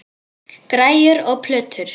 Græjur og plötur.